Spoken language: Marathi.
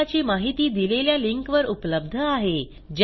प्रकल्पाची माहिती दिलेल्या लिंकवर उपलब्ध आहे